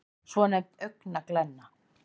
svonefnd augnglenna